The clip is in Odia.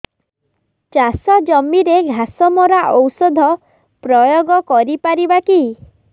ଚାଷ ଜମିରେ ଘାସ ମରା ଔଷଧ ପ୍ରୟୋଗ କରି ପାରିବା କି